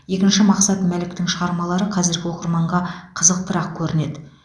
екінші мақсат мәліктің шығармалары қазіргі оқырманға қызықтырақ көрінеді